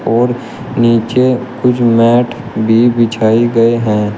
और नीचे कुछ मैट भी बिछाई गए हैं।